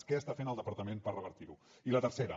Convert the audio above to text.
què està fent el departament per revertir ho i la tercera